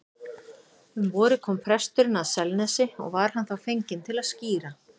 Um vorið kom presturinn að Selnesi og var hann þá fenginn til að skíra.